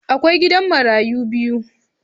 Akwai gidan marayu biyu.